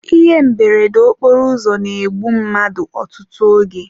Ihe mberede okporoụzọ na-egbu mmadụ ọtụtụ oge.